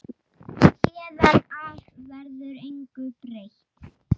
Héðan af verður engu breytt.